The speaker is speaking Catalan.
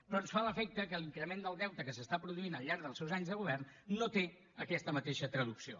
però ens fa l’efecte que l’increment del deute que es produeix al llarg dels seus anys de govern no té aquesta mateixa traducció